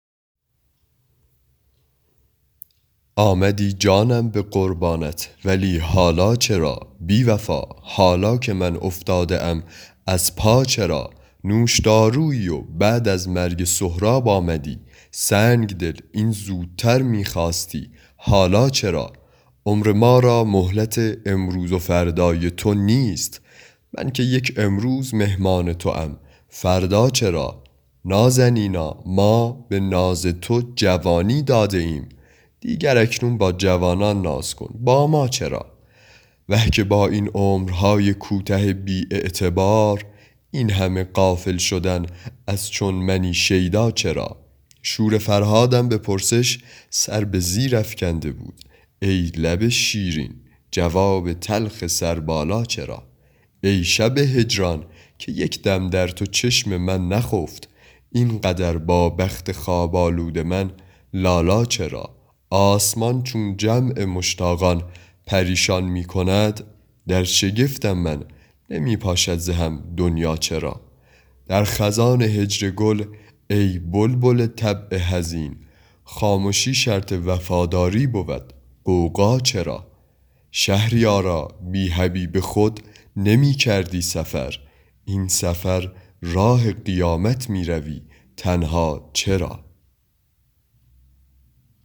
آمدی جانم به قربانت ولی حالا چرا بی وفا حالا که من افتاده ام از پا چرا نوشدارویی و بعد از مرگ سهراب آمدی سنگ دل این زودتر می خواستی حالا چرا عمر ما را مهلت امروز و فردای تو نیست من که یک امروز مهمان توام فردا چرا نازنینا ما به ناز تو جوانی داده ایم دیگر اکنون با جوانان ناز کن با ما چرا وه که با این عمرهای کوته بی اعتبار این همه غافل شدن از چون منی شیدا چرا شور فرهادم به پرسش سر به زیر افکنده بود ای لب شیرین جواب تلخ سربالا چرا ای شب هجران که یک دم در تو چشم من نخفت این قدر با بخت خواب آلود من لالا چرا آسمان چون جمع مشتاقان پریشان می کند در شگفتم من نمی پاشد ز هم دنیا چرا در خزان هجر گل ای بلبل طبع حزین خامشی شرط وفاداری بود غوغا چرا شهریارا بی حبیب خود نمی کردی سفر این سفر راه قیامت می روی تنها چرا